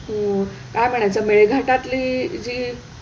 अं काय म्हणायचं मेळघाटातली जी,